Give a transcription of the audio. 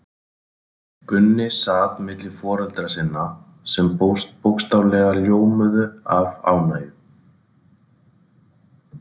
Gunni sat milli foreldra sinna, sem bókstaflega ljómuðu af ánægju.